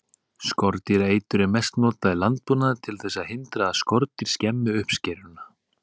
Skordýraeitur er mest notað í landbúnaði til þess að hindra að skordýr skemmi uppskeruna.